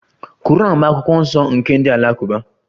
Quran bụ akwụkwọ nsọ nke ndị Alakụba